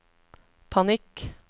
panikk